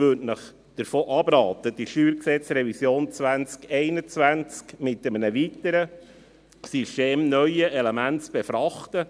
Ich rate Ihnen davon ab, die StGRevision 2021 mit einem weiteren, systemneuen Element zu befrachten.